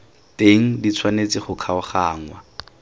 teng di tshwanetse go kgaoganngwa